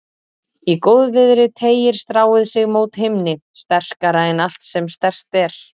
Í góðviðri teygir stráið sig mót himni, sterkara en allt sem sterkt er.